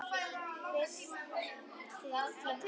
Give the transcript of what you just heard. Fyrst til Kína.